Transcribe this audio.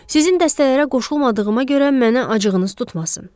Sizin dəstələrə qoşulmadığıma görə mənə acığınız tutmasın.